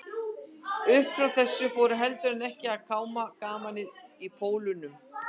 Uppfrá þessu fór heldur en ekki að kárna gamanið í Pólunum.